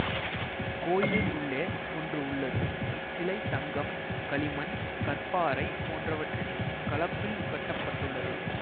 கோயிலின் உள்ளே ஒன்று உள்ளது இச்சிலை தங்கம் களிமண் கற்பாறை போன்றவற்றின் கலப்பில் கட்ட பட்டுள்ளது